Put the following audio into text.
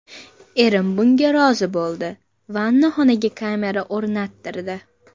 Erim bunga rozi bo‘ldi, vannaxonaga kamera o‘rnattirdi.